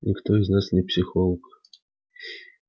никто из нас не психолог